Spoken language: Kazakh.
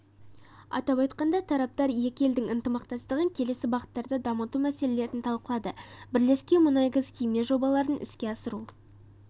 атап айтқанда тараптар екі елдің ынтымақтастығын келесі бағыттарда дамыту мәселелерін талқылады бірлескен мұнай-газ-химия жобаларын іске асыру